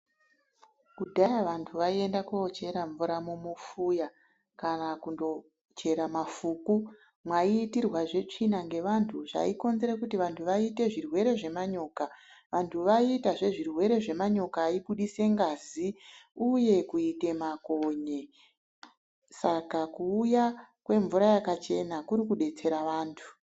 Kudhaya vanthu vaienda kochera mvura mumufuya kana kundochera mafuku mwaitirwazve tsvina ngevanthu zvaikonzere kuti vanthu vaite zvirwere zvemanyoka. Vanthu vaiitazve zvirwere zvemanyoka aibudise ngazi uye kuite makonye. Saka kuuya kwemvura yakachena kuri kudetsera vanthu.